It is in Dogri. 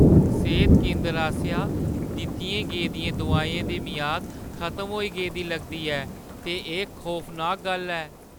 सेह्त केंदर आसेआ दित्तियें गेदियें दोआइयें दी मियाद खतम होई गेदी लगदी ऐ ते एह् खौफनाक गल्ल ऐ।